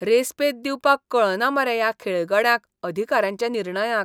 Respect दिवपाक कळना मरे ह्या खेळगड्यांक अधिकाऱ्यांच्या निर्णयांक.